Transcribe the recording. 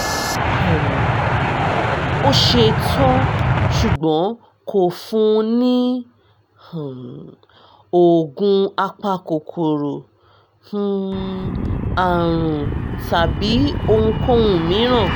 um ó ṣe tán ṣùgbọ́n kò fún un ní um oògùn apakòkòrò um àrùn tàbí ohunkóhun mìíràn